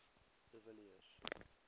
de villiers